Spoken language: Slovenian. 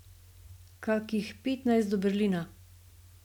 Kakih petnajst do Berlina.